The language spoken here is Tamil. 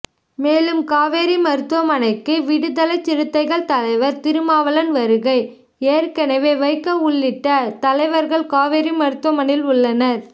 மேலும் காவேரி மருத்துவமனைக்கு விடுதலைச்சிறுத்தைகள் தலைவர் திருமாவளவன் வருகை ஏற்கனவே வைகோ உள்ளிட்ட தலைவர்கள் காவேரி மருத்துவமனையில் உள்ளனர்